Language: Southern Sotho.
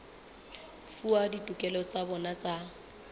fuwa ditokelo tsa bona tsa